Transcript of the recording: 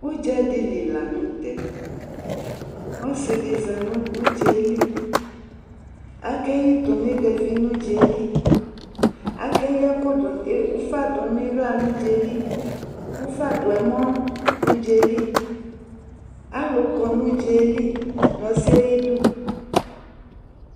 Udzadili la nu tɛ Ɔsi di za nu udza yɛ li Akayi tomegavi nu udza yɛ li Akeyi ufa du nu iɣla nu udza yɛ li ufa du nu ɛmɔ nu udza yɛ li Alu kɔ nu udza yɛ li nu ɔsi yɛ ayidu